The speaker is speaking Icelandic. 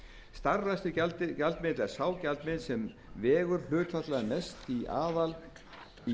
starfrækslugjaldmiðill er sá gjaldmiðill sem vegur hlutfallslega mest í